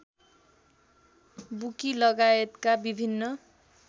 bookie लगायतका विभिन्न